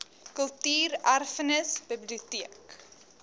kultuur erfenis biblioteek